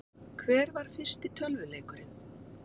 Hver var fyrsti tölvuleikurinn?